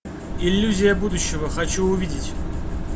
иллюзия будущего хочу увидеть